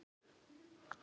Við svörum ef hún spyr.